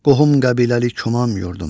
Qohum-qəbiləli komam yurdum.